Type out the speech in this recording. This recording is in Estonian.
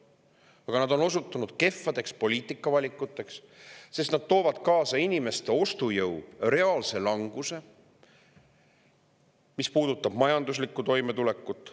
Aga nad on osutunud kehvadeks poliitikavalikuteks, sest nad toovad kaasa inimeste ostujõu reaalse languse, mis puudutab ka majanduslikku toimetulekut.